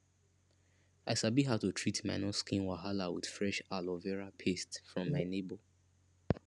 i sabi how to treat minor skin wahala with fresh aloe vera paste from my neighbor